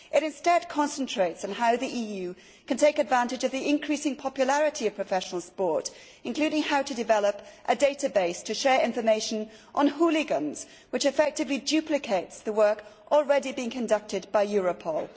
It instead concentrates on how the EU can take advantage of the increasing popularity of professional sport, including how to develop a database to share information on hooligans, which effectively duplicates the work already being conducted by Europol.